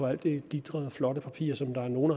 alt det glitrende og flotte papir som nogle